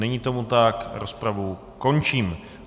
Není tomu tak, rozpravu končím.